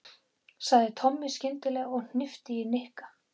sagði Tommi skyndilega og hnippti í Nikka.